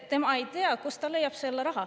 Ta ei tea, kust ta leiab selle raha.